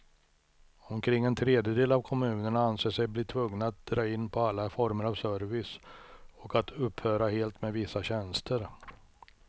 Omkring en tredjedel av kommunerna anser sig bli tvungna att dra in på alla former av service och att upphöra helt med vissa tjänster.